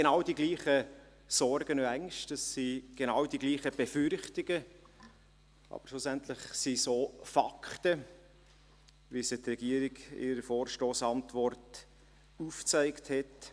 Es sind dieselben Sorgen und Ängste, es sind dieselben Befürchtungen, aber schlussendlich sind es auch Fakten, wie sie die Regierung in ihrer Vorstossantwort aufgezeigt hat.